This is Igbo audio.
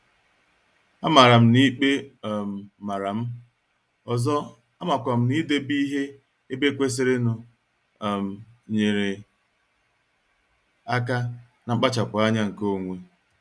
Amara m n'ikpe um maram, ọzọ, amakwam n'idebe ihe ebe kwesịrịnụ um nyere aka na nkpachapu anya nke onwe.